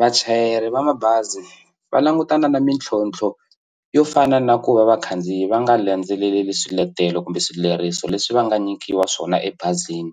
Vachayeri va mabazi va langutana na mintlhontlho yo fana na ku va vakhandziyi va nga landzeleli swiletelo kumbe swileriso leswi va nga nyikiwa swona ebazini